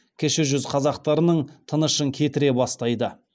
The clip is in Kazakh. кіші жүз қазақтарының тынышын кетіре бастайды